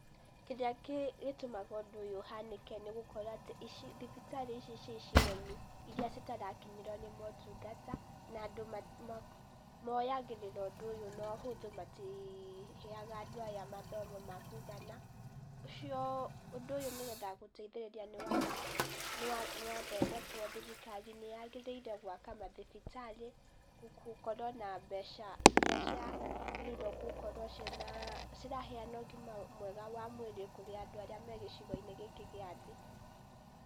Kĩrĩa gĩtũmaga ũndũ ũyũ ũhanĩke nĩ gũkorwo atĩ, ici thibitarĩ ici ciĩ icigo-inĩ iria citarakinyĩrwo nĩ motungata, na andũ moyagĩrĩra ũndũ ũyũ na ũhũthũ, matiheaga andũ aya mathomo ma kũigana, ũcio, ũndũ ũyũ nĩgetha gũteithĩrĩria nĩ waga, nĩ wathondekwo, thirikari nĩ yagĩrĩire gwaka mathibitarĩ gũkorwo na mbeca iria ciagĩrĩire gũkorwo ciĩna, ciraheana ũgima mwega wa mwĩrĩ kũrĩ andũ arĩa me gĩcigo-inĩ gĩkĩ gĩa thĩ.